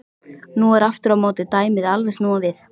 Nú er aftur á móti dæmið alveg snúið við.